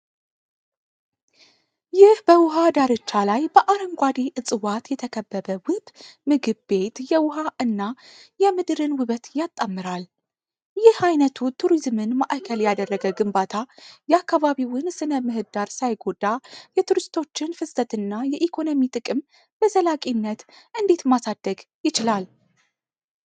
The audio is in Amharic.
ይህ በውሃ ዳርቻ ላይ በአረንጓዴ ዕፅዋት የተከበበ ውብ ምግብ ቤት የውሃ እና የምድርን ውበት ያጣምራል። ይህ ዓይነቱ ቱሪዝምን ማዕከል ያደረገ ግንባታ የአካባቢውን ሥነ-ምህዳር ሳይጎዳ የቱሪስቶችን ፍሰትና የኢኮኖሚ ጥቅም በዘላቂነት እንዴት ማሳደግ ይችላል?